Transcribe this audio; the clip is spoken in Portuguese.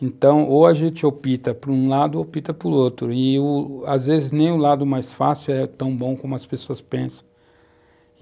Então, ou a gente opta por um lado ou opta por outro, e o, às vezes nem o lado mais fácil é tão bom como as pessoas pensam.